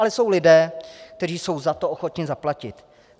Ale jsou lidé, kteří jsou za to ochotni zaplatit.